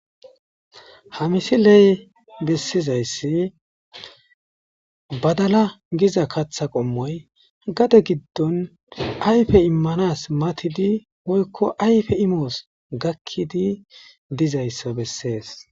Hamisiley bessizayssi badalay GIza katha qomoy Gade Gidon ayfe imanas Woyko ayfe imos gaki Dizaysa beses